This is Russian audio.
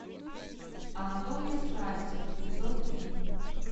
анатомия страсти эпизод три